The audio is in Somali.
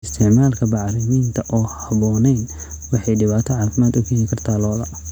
Isticmaalka bacriminta aan habboonayn waxay dhibaato caafimaad u keeni kartaa lo'da.